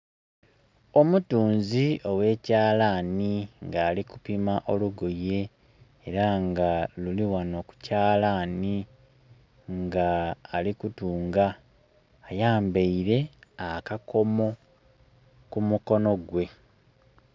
Omutunzi owekyalani nga alikupima olugoye era nga luli ghano ku kyalani nga ali kutunga, ayambeire akakomo ku mukono gwe.